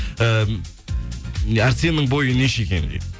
ііі арсеннің бойы неше екен дейді